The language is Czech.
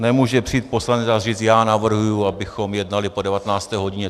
Nemůže přijít poslanec a říct: já navrhuji, abychom jednali po 19. hodině.